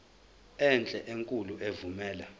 enhle enkulu evumela